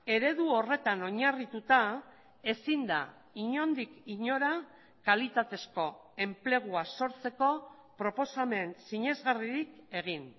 eredu horretan oinarrituta ezin da inondik inora kalitatezko enplegua sortzeko proposamen sinesgarririk egin